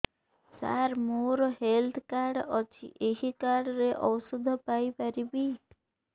ସାର ମୋର health card ଅଛି ଏହି କାର୍ଡ ରେ ଔଷଧ ପାଇପାରିବି